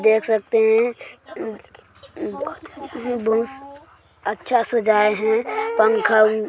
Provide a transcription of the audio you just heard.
देख सकते हैं बहुत अच्छा सजाये हैं पंखा--